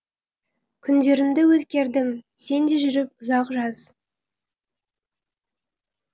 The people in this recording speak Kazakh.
күндерімді өткердім сенде жүріп ұзақ жаз